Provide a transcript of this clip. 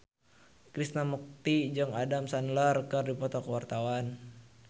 Krishna Mukti jeung Adam Sandler keur dipoto ku wartawan